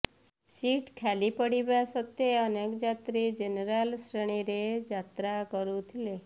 seat ଖାଲି ପଡ଼ିବା ସତ୍ତ୍ୱେ ଅନେକ ଯାତ୍ରୀ ଜେନେରାଲ୍ ଶ୍ରେଣୀରେ ଯାତ୍ରା କରୁଥିଲେ